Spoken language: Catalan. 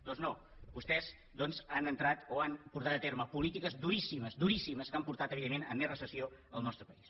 doncs no vostès han portat a terme polítiques duríssimes duríssimes que han portat evidentment més recessió al nostre país